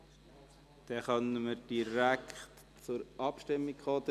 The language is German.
Somit können wir direkt zur Abstimmung kommen.